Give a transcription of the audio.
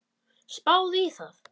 Spáðu í það.